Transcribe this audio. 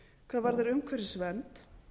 hvað varðar umhverfisvernd